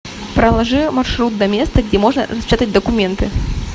проложи маршрут до места где можно распечатать документы